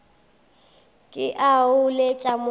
ke a o letša wo